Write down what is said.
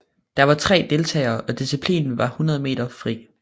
Der var tre deltagere og disciplinen var 100 meter fri